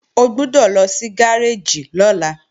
O gbọ́dọ̀ lọ sí gáréèjì lọ́la